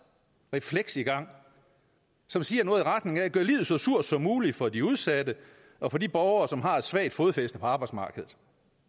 refleks i gang som siger noget i retning af gør livet så surt som muligt for de udsatte og for de borgere som har et svagt fodfæste på arbejdsmarkedet